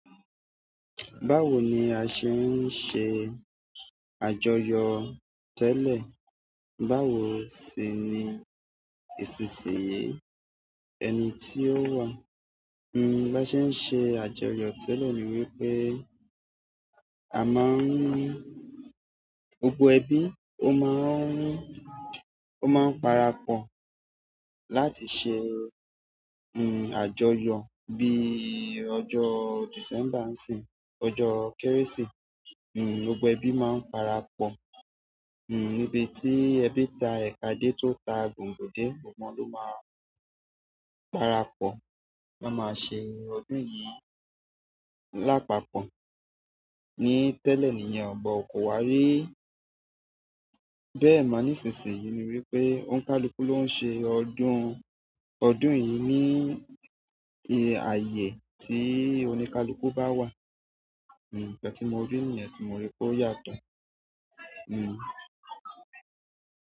Báwo ni a ṣe ń ṣe àjọyọ̀ tẹ́lẹ̀? Báwo sì ni ìsinsìnyí ẹni tí ó wà? Hmm bá ṣe ń ṣe àjọyọ̀ tẹ́lẹ̀ ni wípé a máa ń, gbogbo ẹbí ó máa ń, ó máa ń parapọ̀ láti ṣe, hmm àjọyọ̀ bí ọjọ́ December ńisi, ọjọ́ Kérésìmesì, hmm gbogbo ẹbí máa ń parapọ̀, hmm níbi tí ẹbí ta ẹ̀ka dé tó ta gòǹgò dé, gbogbọ won ló máa parapọ̀ wọn máa ṣe ọdún yìí lápapọ̀. Ni tẹ́lẹ̀ nìyẹn, bọ ko wá rí. Bẹ́ẹ̀ ma nisisiyi ni wípé, oni kaluku lo nse ọdún. Ọdún yi ni ààyè ti onikaluku ba wa hmm nkan tí mo rí nìyẹn tí mo rí pé ó yàtọ̀. Hmm.